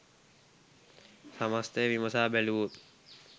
සමස්තය විමසා බැලුවොත්